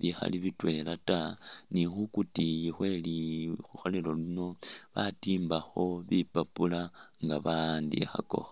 bikhaali bitwela taa ni'khukutiyi khwe likholelo lino batimbakho bipapula nga bawandikhakakho